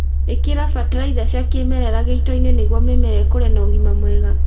Ĩkĩra bataritha cia kĩmerera gĩitoini niguo mĩmera ĩkũre na ũgima mwega